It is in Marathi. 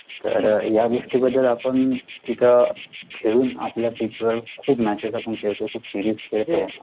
तर या गोष्टी बद्दल आपण, तिथं, खेळून आपल्या पिचवर, खूप matches आपण खेळतो, खूप सिरीज खेळतो,